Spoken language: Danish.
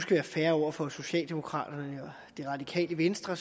være fair over for socialdemokraterne og det radikale venstre